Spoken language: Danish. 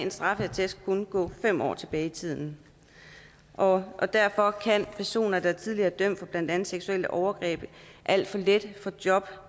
at straffeattesten går fem år tilbage i tiden og og derfor kan personer der tidligere er dømt for blandt andet seksuelle overgreb alt for let få job